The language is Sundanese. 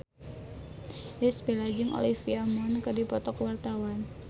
Irish Bella jeung Olivia Munn keur dipoto ku wartawan